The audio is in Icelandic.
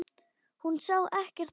Hún sá ekkert nema Örn.